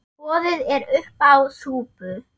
Boðið er uppá súpu.